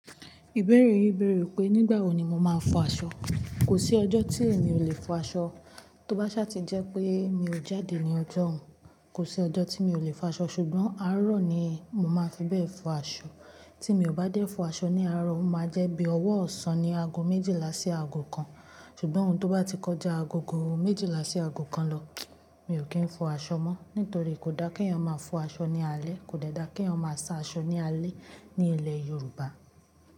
Ìbéèrè yí bẹ̀rẹ̀ wípé nígbà wo ni mo máa fọ aṣọ. Kò sí ọjọ́ tí èmi ò lè fọ aṣọ. Tóbá ṣá ti jẹ́ pé mi ò jáde ní ọjọ́ òun, kò sí ọjọ́ tí mi ò lè fọ aṣọ ṣùgbọ́n àárọ̀ ni mo máa fi bẹ́ẹ̀ fọ aṣọ. Tí mi ò bá dé fọ aṣọ ní àárọ̀, ó máa jẹ́ bí ọwọ ọ̀sán ni aago méjìlá sí aago kan. Ṣùgbọ́n ohun tó bá ti kọjá aagogo méjìlá sí aago kan lọ, mi ò kí ń fọ aṣọ mọ́. Nítorí kò dá kí ẹyan máa fọ aṣọ ní alẹ́, kò de dáa kí ẹyan máa sa aṣọ ní alẹ́ ní ilẹ̀ Yorùbá.